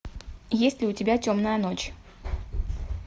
есть ли у тебя темная ночь